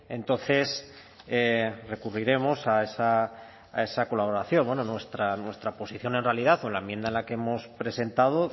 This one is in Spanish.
entonces recurriremos a esa colaboración bueno nuestra posición en realidad o la enmienda que hemos presentado